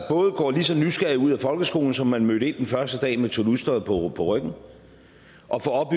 både går lige så nysgerrigt ud af folkeskolen som man mødte ind den første dag med tornysteret på ryggen og får